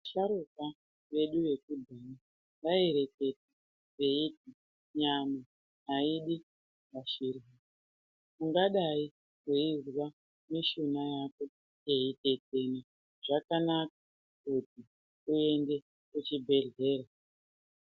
Vasharuka vedu vekudhaya vaireketa veiti nyama haidi masinhwa. Ungadai veizwa nishuna yako yeitetena zvakanaka kuti uende kuchibhedhlera.